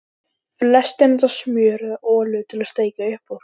Flestir nota smjör eða olíu til að steikja upp úr.